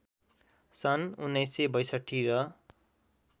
सन् १९६२ र